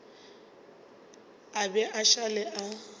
a be a šale a